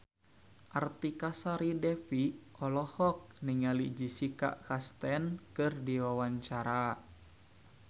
Artika Sari Devi olohok ningali Jessica Chastain keur diwawancara